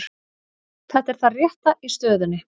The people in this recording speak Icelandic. Þetta er það rétta í stöðunni